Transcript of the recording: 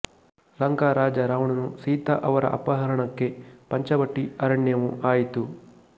ಲಂಕಾ ರಾಜ ರಾವಣನು ಸೀತಾ ಅವರ ಅಪಹರಣಕ್ಕೆ ಪಂಚವಟಿ ಅರಣ್ಯವು ಆಯಿತು